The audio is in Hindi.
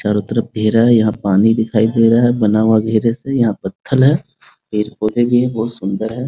चारो तरफ पेड़ हैं | यहाँ पानी दिखाई दे रहा है बना हुआ घेरे से यहाँ पत्थर है पेड़-पौधे भी है बहुत सुन्दर है ।